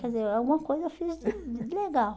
Quer dizer, alguma coisa eu fiz de de legal.